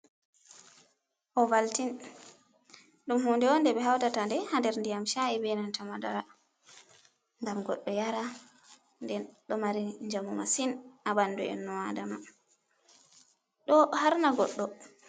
Ovaltin ɗum huunde on, nde ɓe hautata nde haa nder ndiyam sha'i, be nanta madara, ngam goɗɗo yara, nde ɗo mari njamu masin, haa ɓandu inno adama, ɗo haarna goɗɗo.